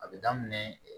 A bɛ daminɛ